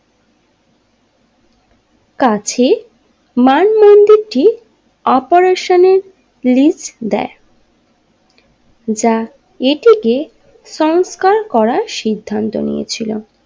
কাছে ম্যান মন্দিরটি অপেরেশনের লিস্ট দেয় যা এটিকে সংস্কার করার সিদ্ধান্ত নিয়ে ছিল।